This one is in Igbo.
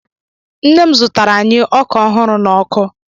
Nne m zutara anyi oka ahuru na-oku